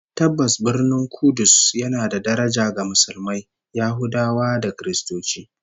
Tabbas, Birnin Kudus yana da daraja ga Musulmai, Yahudawa da Kiristoci